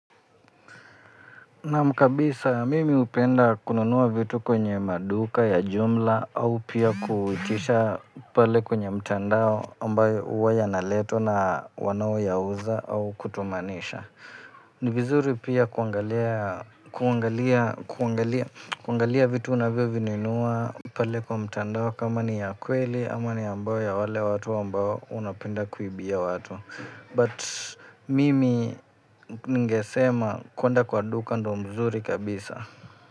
Naam kabisa, mimi hupenda kununua vitu kwenye maduka ya jumla au pia kuhitisha pale kwenye mtandao ambayo huwa yanaletwa na wanaoyauza au kutumanisha. Ni vizuri pia kuangalia vitu unavyovinunuwa pale kwa mtandao kama ni ya kweli ama ni ambayo ya wale watu ambayo unapenda kuibia watu. But mimi ningesema kwenda kwa duka ndio mzuri kabisa.